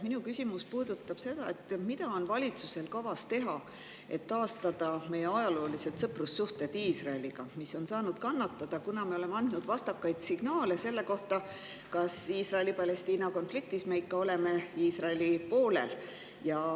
Minu küsimus puudutab seda, mida on valitsusel kavas teha, et taastada Iisraeliga meie ajaloolised sõprussuhted, mis on saanud kannatada, kuna me oleme andnud vastakaid signaale selle kohta, kas me oleme Iisraeli-Palestiina konfliktis ikka Iisraeli poolel.